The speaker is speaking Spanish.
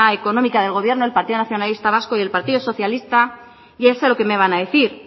económica del gobierno el partido nacionalista vasco el partido socialista ya sé lo que me van a decir